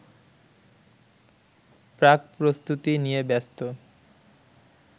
প্রাকপ্রস্তুতি নিয়ে ব্যস্ত